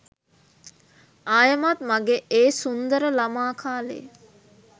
ආයෙමත් මගෙ ඒ සුන්දර ළමා කාලේ